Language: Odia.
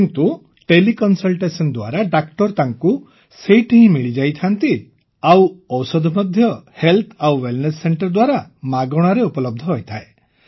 କିନ୍ତୁ ତେଲେ କନସଲଟେସନ ଦ୍ୱାରା ଡାକ୍ତର ତାଙ୍କୁ ସେଇଠି ହିଁ ମିଳିଯାଇଥାନ୍ତି ଆଉ ଔଷଧ ମଧ୍ୟ ହେଲ୍ଥ ଆଣ୍ଡ୍ ୱେଲନେସ୍ ସେଣ୍ଟରେ ଉରଦ୍ଭଗ୍ଧକ୍ସର ଦ୍ୱାରା ମାଗଣାରେ ଉପଲବ୍ଧ ହୋଇଥାଏ